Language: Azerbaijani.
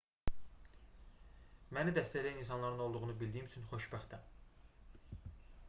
məni dəstəkləyən insanların olduğunu bildiyim üçün xoşbəxtəm